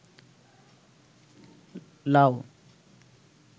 লাউ